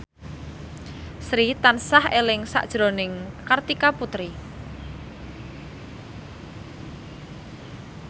Sri tansah eling sakjroning Kartika Putri